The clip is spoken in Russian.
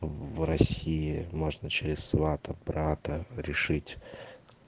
в россии можно через свата брата решить